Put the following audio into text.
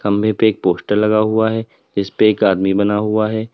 खम्भे पे एक पोस्टर लगा हुआ है इसपे एक आदमी बना हुआ है।